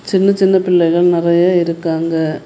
சின்ன சின்ன பிள்ளைகள் நறைய இருக்காங்க.